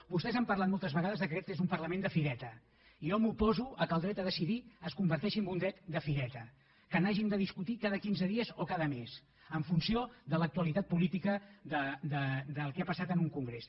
vostès han parlat moltes vegades que aquest és un parlament de fireta i jo m’oposo que el dret a decidir es converteixi en un dret de fireta que n’hàgim de discutir cada quinze dies o cada mes en funció de l’actualitat política del que ha passat en un congrés